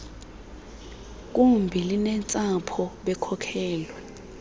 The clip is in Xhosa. gumbi linentsapho bekhokelwe